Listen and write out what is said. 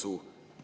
Hea Mart!